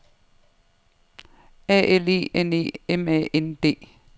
A L E N E M A N D